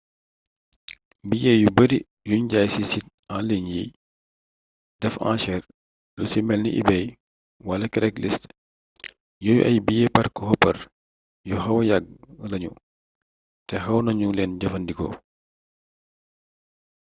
billet yu bari yuñ jaay ci site en ligne yiy def anchere lu ci melni ebay wala craigslist yooyu ay billet parc-hopper yu xawa yàgg lañu te xaw nañu leen jëfandikoo